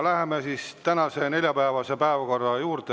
Läheme tänase, neljapäevase päevakorra juurde.